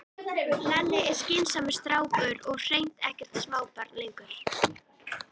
Lalli er skynsamur strákur og hreint ekkert smábarn lengur.